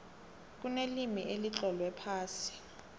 kunelimi elitlolwe phasi